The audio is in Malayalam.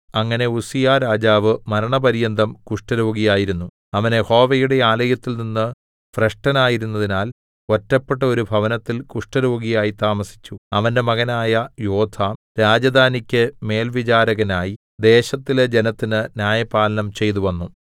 അങ്ങനെ ഉസ്സീയാരാജാവ് മരണപര്യന്തം കുഷ്ഠരോഗിയായിരുന്നു അവൻ യഹോവയുടെ ആലയത്തിൽനിന്ന് ഭ്രഷ്ടനായിരുന്നതിനാൽ ഒറ്റപ്പെട്ട ഒരു ഭവനത്തിൽ കുഷ്ഠരോഗിയായി താമസിച്ചു അവന്റെ മകനായ യോഥാം രാജധാനിക്ക് മേൽവിചാരകനായി ദേശത്തിലെ ജനത്തിന് ന്യായപാലനം ചെയ്തുവന്നു